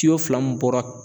Tiyo fila mun bɔra